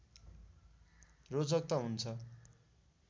रोचक त हुन्छ